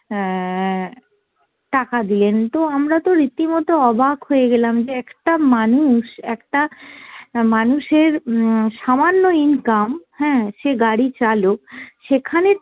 অ্যাঁ টাকা দিলেন। তো আমরা তো রীতিমত অবাক হয়ে গেলাম যে একটা মানুষ, একটা মানুষের উম সামান্য income হ্যাঁ সে গাড়ি চালক সেখানে